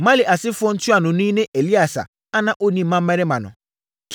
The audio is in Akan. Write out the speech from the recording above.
Mahli asefoɔ ntuanoni ne Eleasa a na ɔnni mmammarima no.